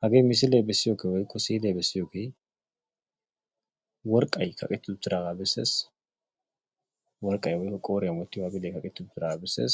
Hagee misilee bessiyogee woyikko si'ilee bessiyogee worqqay kaqetti uttidaagaa besses. Worqqay woyikko qooriyan wottiyogee kaqetti uttidaagaa besses.